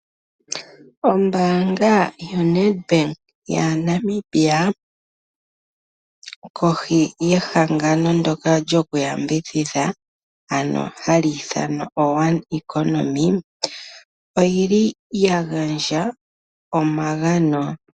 Ombaanga yoNEDBANK yaNamibia kohi yehangano ndoka lyoku yambidhidha ano hali ithanwa oOne Economy oyili ya gandja omagano.